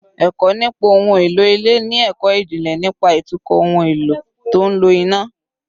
Ẹ̀kọ́ nípa ohun èlò ilé ni ẹ̀kọ́ ìjìnlẹ̀ nípa ìtukọ̀ ohun èlò tó ń lo iná